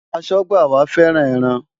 Aṣọ́gbà wa fẹ́ràn ẹran.